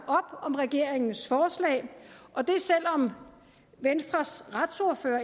om regeringens forslag og det selv om venstres retsordfører